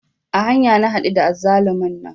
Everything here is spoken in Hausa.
A hanya na haɗu da azzalumin nan